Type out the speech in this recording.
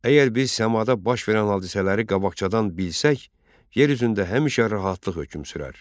Əgər biz səmada baş verən hadisələri qabaqcadan bilsək, yer üzündə həmişə rahatlıq hökm sürər.